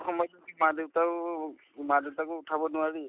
সময়লৈকে মা-দেউতায়োক মা-দেউতাকো উঠাব নোৱাৰি